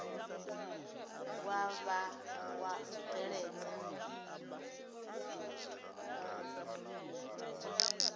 wa vha wa u bveledza